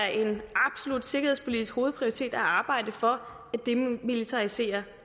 og sikkerhedspolitisk hovedprioritet at arbejde for et demilitariseret